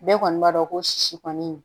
Bɛɛ kɔni b'a dɔn ko sisi kɔni